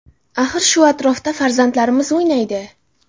Axir shu atrofda farzandlarimiz o‘ynaydi.